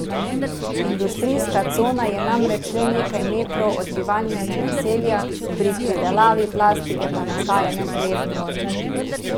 Industrijska cona je namreč le nekaj metrov od bivalnega naselja, pri predelavi plastike pa nastaja neprijeten vojn.